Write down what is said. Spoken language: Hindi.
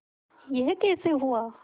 यह कैसे हुआ